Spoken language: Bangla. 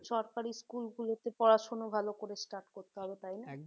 সরকারি school গুলোতে পড়াশোনা ভালো করে start করতে হবে তাই না?